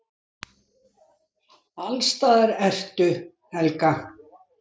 Allsstaðar ertu, Helga!